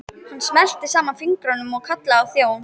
Hann smellti saman fingrum og kallaði á þjón.